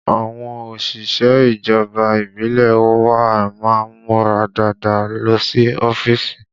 Àwọn òṣìṣẹ́ ìjọba ìbílẹ̀ wa má ń múra dáadáa lọ sí ọ́fíìsì